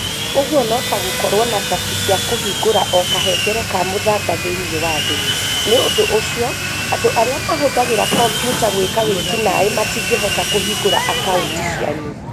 Ũguo no ta gũkorũo na cabi cia kũhingũra o kahengere ka mũthanga thĩinĩ wa thĩ! Nĩ ũndũ ũcio, andũ arĩa mahũthagĩra kompiuta gwĩka wĩki-naĩ matingĩhota kũhingũra akaunti cianyu.